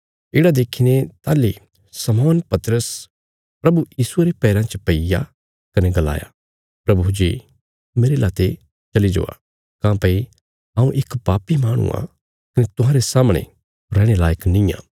येढ़ा देखीने ताहली शमौन पतरस प्रभु यीशुये रे पैराँ च पैईया कने गलाया प्रभु जी मेरे लाते चली जावा काँह्भई हऊँ इक पापी माहणु आ कने तुहांरे सामणे रैहणे लायक निआं